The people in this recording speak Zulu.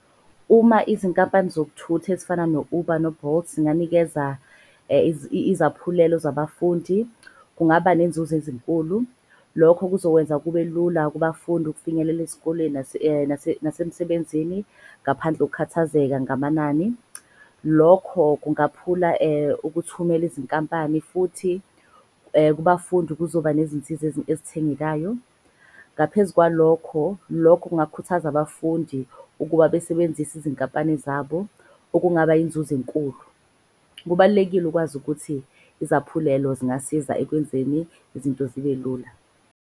Uma izinkampani zokuthutha ezifana no-Uber no-Bolt zinganikeza izaphulelo zabafundi. Kungaba nenzuzo ezinkulu lokho kuzokwenza kube lula kubafundi ukufinyelela ezikoleni nasemsebenzini. Ngaphandle ngokukhathazeka ngamanani, lokho kungakhuphula ukuthumela izinkampani. Futhi kubafundi kuzoba nezinsiza ezithengekayo. Ngaphezu kwalokho lokho kungakhuthaza abafundi ukuba besebenzise izinkampani zabo, okungaba yinzuzo enkulu. Kubalulekile ukwazi ukuthi izaphulelo zingasiza ekwenzeni izinto zibe lula.